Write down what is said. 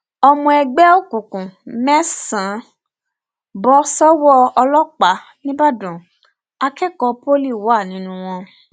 ọmọ ẹgbẹ òkùnkùn mẹsànán bọ sọwọ ọlọpàá nìbàdàn akẹkọọ pọlì wà nínú wọn